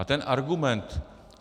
A ten argument...